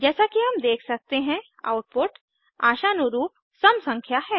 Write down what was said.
जैसा कि हम देख सकते हैं आउटपुट आशानुरूप सम संख्या है